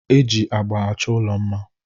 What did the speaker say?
Eji agba achọ ụlọ mma.